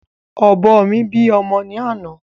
Ọ̀bọ mi bí ọmọ ni àná